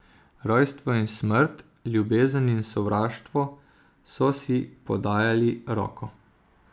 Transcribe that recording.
Rojstvo in smrt, ljubezen in sovraštvo so si podajali roko.